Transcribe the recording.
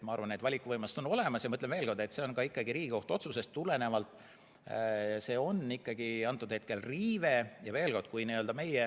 Ma arvan, et valikuvõimalused on olemas, ja ma ütlen veel kord, et see on Riigikohtu otsusest tulenevalt antud hetkel ikkagi riive.